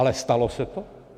Ale stalo se to?